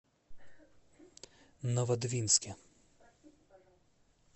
новодвинске